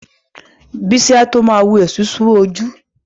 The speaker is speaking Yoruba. Bísí a tó ma wu esusu ara